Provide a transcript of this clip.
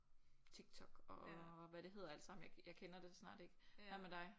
Tiktok og hvad det hedder alt sammen jeg jeg kender det snart ikke. Hvad med dig?